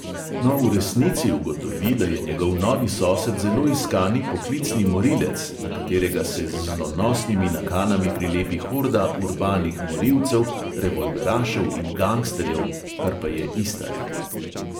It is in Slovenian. No, v resnici ugotovi, da je njegov novi sosed zelo iskani poklicni morilec, na katerega se z zlonosnimi nakanami prilepi horda urbanih morilcev, revolverašev in gangsterjev, kar pa je ista reč.